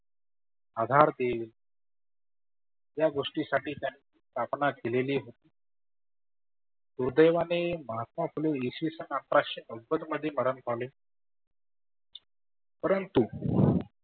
आधार देत. ज्या गोष्टींसाठी त्यानी स्थापना केलेली दुर्दैवाने महात्मा फुले इसविसन अठराशे नव्वद मध्ये मरन पावले. परंतु